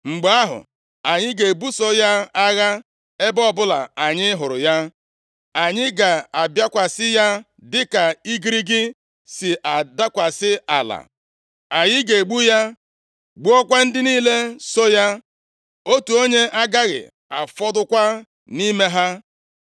Mgbe ahụ, anyị ga-ebuso ya agha ebe ọbụla anyị hụrụ ya; anyị ga-abịakwasị ya dịka igirigi si adakwasị ala. Anyị ga-egbu ya, gbukwaa ndị niile so ya. Otu onye agaghị afọdụkwa nʼime ha.